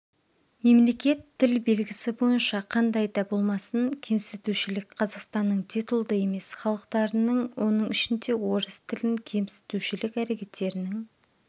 мемлекет тіл белгісі бойынша қандай да болмасын кемсітушілік қазақстанның титулды емес халықтарының оның ішінде орыс тілін кемсітушілік әрекеттерінің